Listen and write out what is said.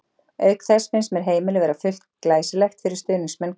Auk þess finnst mér heimilið vera full glæsilegt fyrir stuðningsmenn Krists.